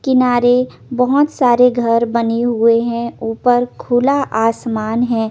किनारे बोहोत सारे घर बने हुए है उपर खुला आसमन है।